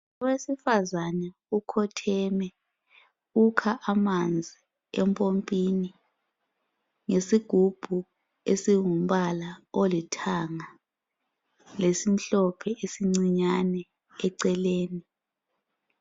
Owesifazana ukhotheme ukha amanzi empompini ngesigubhu esingumbala olithanga lesimhlophe esincinyane eceleni